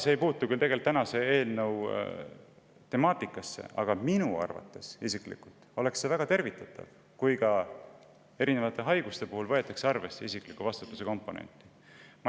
See ei puutu küll selle eelnõu temaatikasse, aga minu arvates oleks väga tervitatav, kui erinevate haiguste puhul võetaks arvesse isikliku vastutuse komponenti.